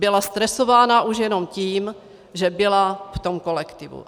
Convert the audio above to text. Byla stresovaná už jenom tím, že byla v tom kolektivu.